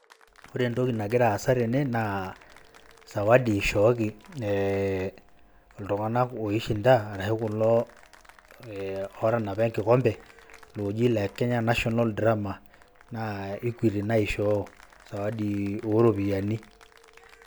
Ore entoki nagira aasa tene, naa sawadi ishooki e ltung'anak oi shinda, arashu kulo otanapa enkikompe, looji le Kenya National Drama. Naa Equity naishoo, sawadi oropiyiani.